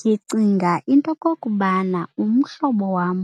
Ndicinga into yokokubana umhlobo wam